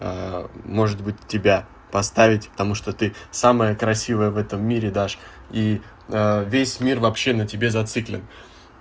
может быть тебя поставить потому что ты самая красивая в этом мире даш и весь мир вообще на тебе зациклен